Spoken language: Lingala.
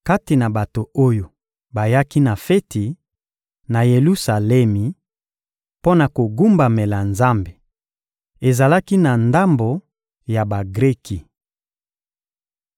Kati na bato oyo bayaki na feti, na Yelusalemi, mpo na kogumbamela Nzambe, ezalaki na ndambo ya Bagreki.